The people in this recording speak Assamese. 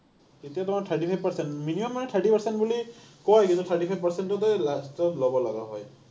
তেতিয়া তোমাৰ thirty five percent মানে thirty percent বুলি কয়, কিন্তু thirty five percent তে last ত ল’ব লগা হয়।